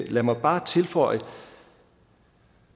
lad mig bare tilføje